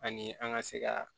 Ani an ka se ka